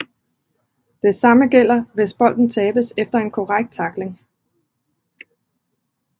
Det samme gælder hvis bolden tabes efter en korrekt tackling